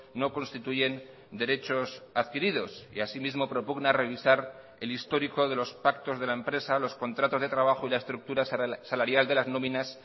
no constituyen derechos adquiridos y así mismo propugna revisar el histórico de los pactos de la empresa los contratos de trabajo y la estructura salarial de las nóminas